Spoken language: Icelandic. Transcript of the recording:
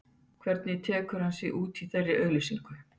Hvernig tekur hann sig út í þeirri auglýsingu?